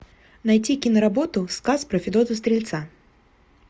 найти киноработу сказ про федота стрельца